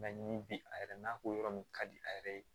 ni bi a yɛrɛ n'a ko yɔrɔ min ka di a yɛrɛ ye